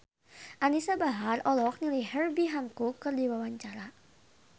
Anisa Bahar olohok ningali Herbie Hancock keur diwawancara